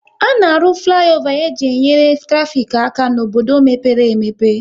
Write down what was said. A na-arụ fliova e ji nyere traffic aka n'obodo mepere emepe